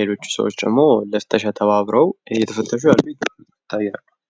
ሌሎች ሰዎች ደግሞ ለፍተሻ እየተባበሩ እንደሆነ ያሳያል።